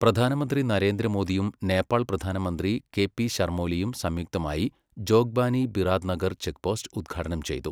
പ്രധാനമന്ത്രി നരേന്ദ്ര മോദിയും നേപ്പാൾ പ്രധാനമന്ത്രി കെ പി ശർമോലിയും സംയുക്തമായി ജോഗ്ബാനി ബിറാത്‌നഗർ ചെക്പോസ്റ്റ് ഉദ്ഘാടനം ചെയ്തു.